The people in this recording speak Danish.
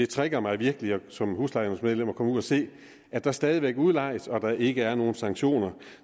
trigger mig virkelig som huslejenævnsmedlem at komme ud og se at der stadig væk udlejes og at der ikke er nogen sanktioner